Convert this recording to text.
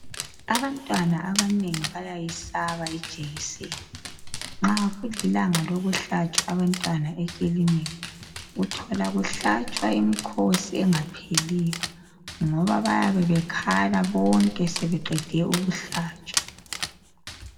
Abantwaba abanengi bayayesaba ijekiseni. Nxa kulilanga lokuhlatshwa abantwana ekilinika. Uthola kuhlatshwa imikhosi engapheliyo, ngoba bayabe bekhala bonke! Sebeqede ukuhlatshwa.